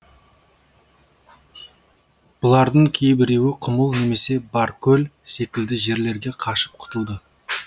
бұлардың кейбіреуі құмыл немесе баркөл секілді жерлерге қашып құтылды